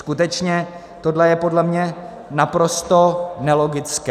Skutečně tohle je podle mě naprosto nelogické.